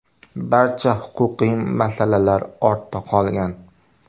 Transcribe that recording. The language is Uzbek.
Barcha huquqiy masalalar ortda qolgan.